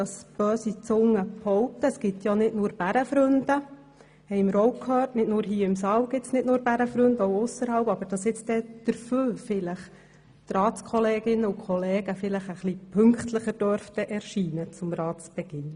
Böse Zungen behaupten, da es ja nicht nur Bärenfreunde gebe – sowohl hier im Rat wie auch ausserhalb –, dürften die Ratskollegen dafür künftig vielleicht wieder etwas pünktlicher zum Sitzungsbeginn erscheinen.